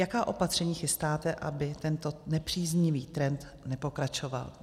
Jaká opatření chystáte, aby tento nepříznivý trend nepokračoval?